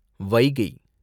Vaigai